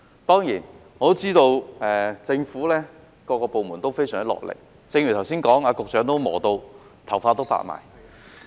當然，我知道政府各個部門都非常努力，正如剛才說過，局長也忙得頭髮發白。